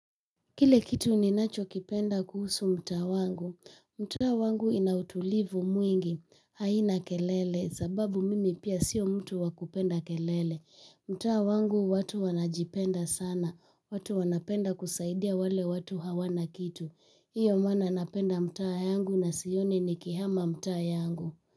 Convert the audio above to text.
Kile kitu ninacho kipenda kuhusu mtaa wangu, mtaa wangu ina utulivu mwingi, haina kelele, sababu mimi pia sio mtu wa kupenda kelele, mtaa wangu watu wanajipenda sana, watu wanapenda kusaidia wale watu hawana kitu, hiyo maana napenda mtaa yangu na sioni nikihama mtaa yangu.